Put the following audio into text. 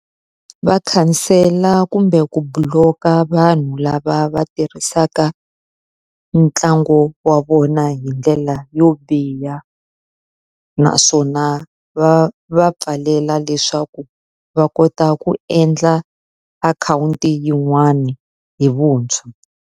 Va khansela kumbe ku block-a vanhu lava va tirhisaka ntlangu wa vona hi ndlela yo biha. Naswona va va pfalela leswaku va kota ku endla akhawunti yin'wani hi vuntshwa.